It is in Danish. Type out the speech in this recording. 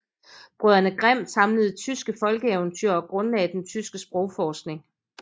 Brødrene Grimm samlede tyske folkeeventyr og grundlagde den tyske sprogforskning